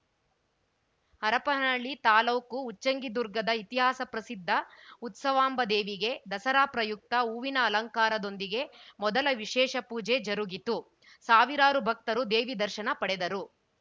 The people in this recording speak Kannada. ಹರಪನಹಳ್ಳಿ ತಾಲ್ಲೂಕು ಉಚ್ಚಂಗಿದುರ್ಗದ ಇತಿಹಾಸ ಪ್ರಸಿದ್ಧ ಉತ್ಸವಾಂಬದೇವಿಗೆ ದಸರಾ ಪ್ರಯುಕ್ತ ಹೂವಿನ ಅಲಂಕಾರದೊಂದಿಗೆ ಮೊದಲ ವಿಶೇಷ ಪೂಜೆ ಜರುಗಿತು ಸಾವಿರಾರು ಭಕ್ತರು ದೇವಿ ದರ್ಶನ ಪಡೆದರು